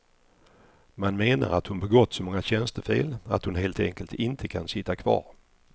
Man menar att hon begått så många tjänstefel att hon helt enkelt inte kan sitta kvar.